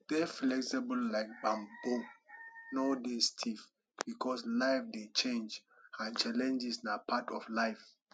dey flexible like bamboo no dey stiff because life dey change and challenges na part of life